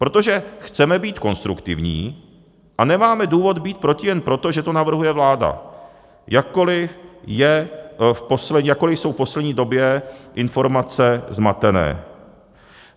Protože chceme být konstruktivní a nemáme důvod být proti jen proto, že to navrhuje vláda, jakkoli jsou v poslední době informace zmatené.